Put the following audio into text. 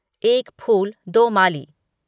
एक फूल दो माली